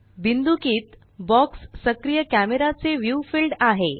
बिंदुकीत box सक्रिय कॅमेराचे view field आहे